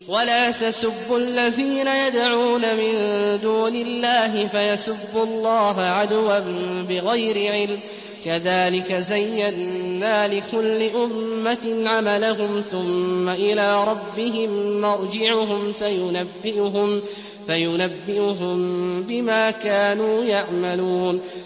وَلَا تَسُبُّوا الَّذِينَ يَدْعُونَ مِن دُونِ اللَّهِ فَيَسُبُّوا اللَّهَ عَدْوًا بِغَيْرِ عِلْمٍ ۗ كَذَٰلِكَ زَيَّنَّا لِكُلِّ أُمَّةٍ عَمَلَهُمْ ثُمَّ إِلَىٰ رَبِّهِم مَّرْجِعُهُمْ فَيُنَبِّئُهُم بِمَا كَانُوا يَعْمَلُونَ